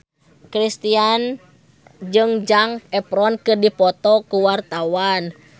Kristina jeung Zac Efron keur dipoto ku wartawan